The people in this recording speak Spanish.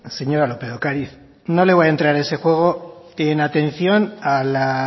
señora lópez de ocariz no le voy a entrar en ese juego en atención a la